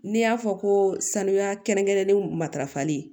N'i y'a fɔ ko sanuya kɛrɛnkɛrɛnnen matarafali